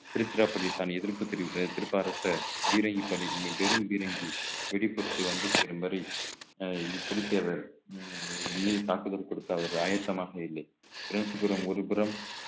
திருச்சிராப்பள்ளி தான் எதிர்ப்பு தெரிவித்த திருப்பாற்ற பீரங்கிப் பணி வெ~ பீரங்கி வெடி பொருட்கள் வந்து சேரும் வரை அஹ் புலித்தேவர் உம் என் மீது தாக்குதல் கொடுத்த ஒரு ஆயத்தமாக இல்லை காஞ்சிபுரம் ஒருபுறம்